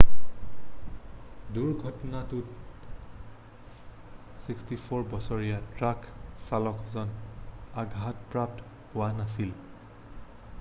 দুৰ্ঘটনাটোত 64 বছৰীয়া ট্ৰাক চালকজন আঘাতপ্ৰাপ্ত হোৱা নাছিল